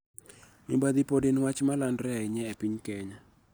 Mibadhi pod en wach ma landore ahinya e piny Kenya.